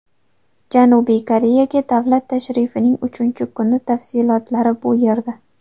Janubiy Koreyaga davlat tashrifining uchinchi kuni tafsilotlari bu yerda.